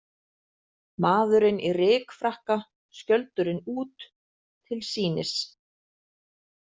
Maðurinn í rykfrakka, skjöldurinn út, til sýnis.